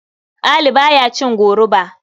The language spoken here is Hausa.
Ali ba ya cin goruba.